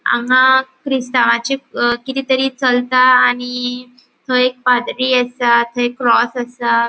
हांगा ख्रिस्तावाचे अ किदे तरी चलता आनी थंय एक पादरी असा थंय क्रॉस असा.